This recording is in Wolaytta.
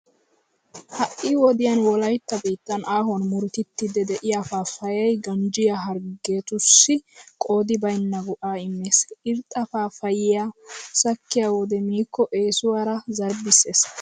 Ha"i wodiyan wolaytta biittan aahuwan murutettiiddi de'iya paappayee ganjjiya harggiyageetussi qoodi baynna go"aa immees. irxxa paappayyiya sakkiyo wode miikko eesuwara zarbbissees.